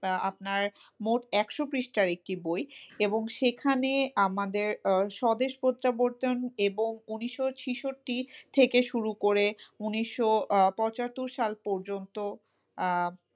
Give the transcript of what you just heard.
তা আপনার মোট একশো পৃষ্ঠার একটি বই এবং সেখানে আমাদের স্বদেশ প্রত্যাবর্তন এবং ঊনিশশো ছেষট্টি থেকে শুরু করে ঊনিশশো পঁচাত্তর সাল পর্যন্ত,